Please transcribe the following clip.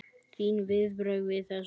Þín viðbrögð við þessu?